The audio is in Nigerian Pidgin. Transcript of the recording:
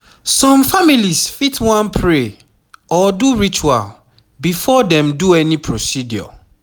some families fit wan pray or do ritual before dem do any procedure